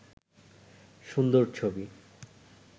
সুন্দর ছবি